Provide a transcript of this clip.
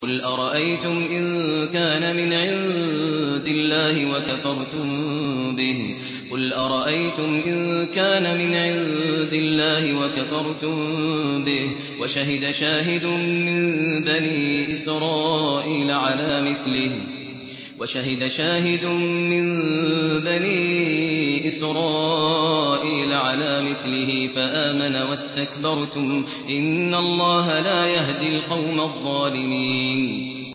قُلْ أَرَأَيْتُمْ إِن كَانَ مِنْ عِندِ اللَّهِ وَكَفَرْتُم بِهِ وَشَهِدَ شَاهِدٌ مِّن بَنِي إِسْرَائِيلَ عَلَىٰ مِثْلِهِ فَآمَنَ وَاسْتَكْبَرْتُمْ ۖ إِنَّ اللَّهَ لَا يَهْدِي الْقَوْمَ الظَّالِمِينَ